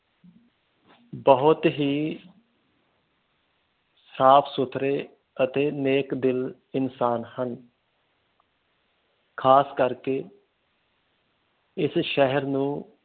ਬਹੁਤ ਹੀ ਸਾਫ ਸੁਥਰੇ ਅਤੇ ਨੇਕ ਦਿਲ ਇਨਸਾਨ ਹਨ ਖਾਸ ਕਰਕੇ ਇਸ ਸ਼ਹਿਰ ਨੂੰ